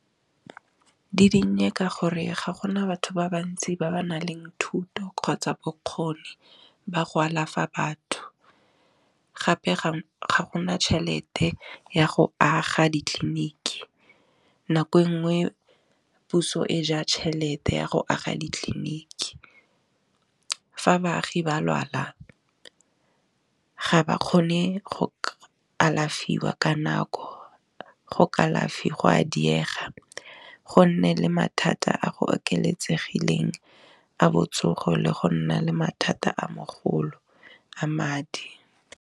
Di dinnye ka gore ga gona batho ba bantsi ba ba nang le thuto kgotsa bokgoni ba go alafa batho, gape ga gona tšhelete ya go aga ditleliniki nako e nngwe puso e ja tšhelete ya go aga ditleliniki, nako engwe puso e ja chelete ya go aga ditleliniki, fa baagi ba lwala ga ba kgone go ka alafiwa ka nako, go a diega, go nne le mathata a go oketsegileng a botsogo le go nna le mathata a mogolo a madi.